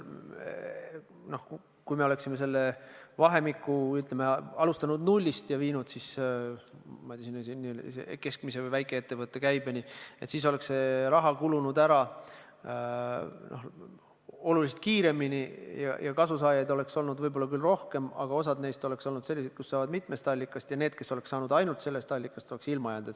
Kui me oleksime seda vahemikku alustanud nullist ja viinud selle, ma ei tea, sinna keskmise või väikeettevõtte käibeni, siis oleks see raha kulunud ära oluliselt kiiremini ja kasusaajaid oleks olnud võib-olla küll rohkem, aga osa neist oleks olnud sellised, kes said toetust mitmest allikast, ja need, kes oleks võinud saada ainult sellest allikast, oleks ilma jäänud.